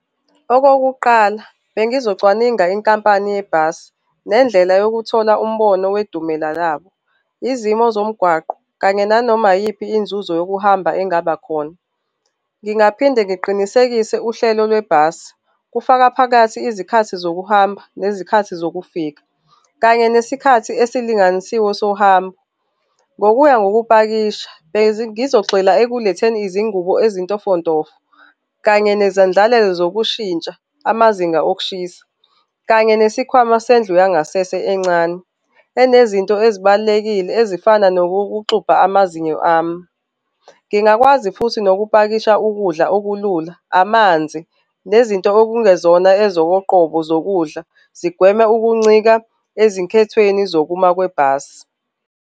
Okokuqala bengizocwaningwa inkampani yebhasi nendlela yokuthola umbono wedumela labo, izimo zomgwaqo kanye nanoma iyiphi inzuzo yokuhamba engabakhona. Ngingaphinde ngiqinisekise uhlelo lwebhasi, kufaka phakathi izikhathi zokuhamba nezikhathi zokufika, kanye nesikhathi esilinganisiwe sohambo. Ngokuya ngokupakisha, bengizogxila ekuletheni izingubo ezintofontofo kanye nezendlalelo zokushintsha amazinga okushisa kanye nesikhwama sendlu yangasese encane enezinto ezibalulekile ezifana nokokuxubha amazinyo ami. Ngingakwazi futhi nokupakisha ukudla okulula, amanzi nezinto okungezona ezokoqobo zokudla zigweme ukuncika ezinkethweni zokuma kwebhasi.